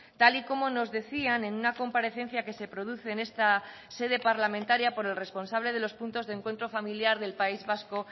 tal y como nos decían en una comparecencia que se produce en esta sede parlamentaria por el responsable de los puntos de encuentro familiar del país vasco